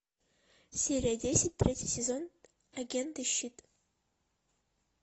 серия десять третий сезон агенты щит